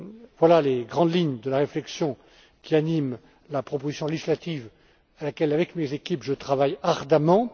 Voilà les grandes lignes de la réflexion qui anime la proposition législative à laquelle, avec mes équipes, je travaille ardemment.